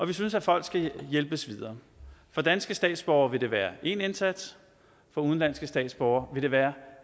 vi synes at folk skal hjælpes videre for danske statsborgere vil det være én indsats for udenlandske statsborgere vil det være